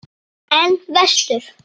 En vestur?